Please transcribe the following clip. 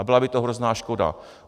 A byla by to hrozná škoda.